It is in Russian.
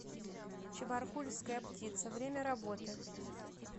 чебаркульская птица время работы